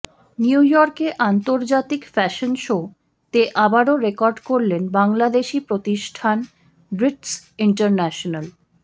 নিউইয়র্কে আন্তর্জাতিক fashion show তে আবারও রেকর্ড করলেন বাংলাদেশি প্রতিষ্ঠান ব্রিটস ইন্টারন্যাশনাল